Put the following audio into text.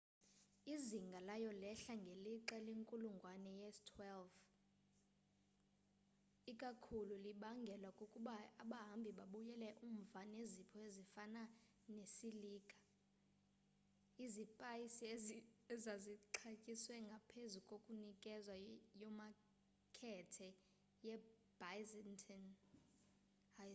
izinga layo lehla ngelixa lenkulungwane ye-12 ikakhulu libangelwa kukuba abahambi babuyela umva nezipho ezifana nesilika izipaysi ezazixatyiswe ngaphezu kokunikezwa yomakethe ye byzantine